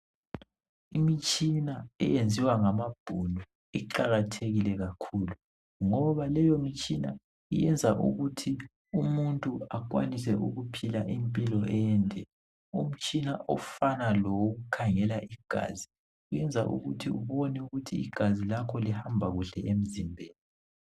Imitshina eyenziwa ngamabhunu iqakathekile kakhulu ngoba leyo mitshina iyenza ukuthi umuntu bakwanise ukuphila impilo ende. Umtshina ofana lowokukhangela igazi iyenza ukuthi ubone ukuthi igazi lakho lihamba kuhle emzimbeni.